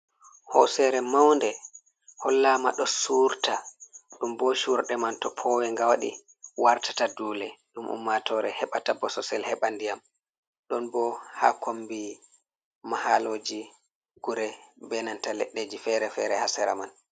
Hoosere maunde hollama ɗo surta, ɗum bo surɗe man to powenga waɗi wartata duule ɗum ummatore heɓata bososel heɓa ndiyam, ɗon bo ha kombi mahaloji kure benanta leɗɗeji fere-fere ha sera man.